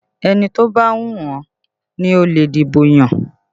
Ẹni tó bá wù ẹ́ ni ó lè dìbò yàn